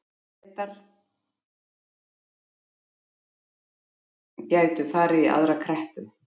Bretar gætu farið í aðra kreppu